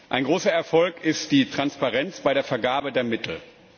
Ein großer Erfolg ist die Transparenz bei der Vergabe der Mittel.